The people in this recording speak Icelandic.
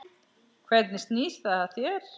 Hvernig snýr það að þér?